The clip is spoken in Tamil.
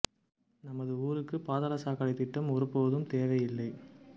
நமது ஊருக்கு பாதாள சாக்கடை திட்டம் ஒரு போதும் தேவை இல்லை